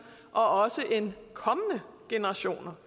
og også end kommende generationer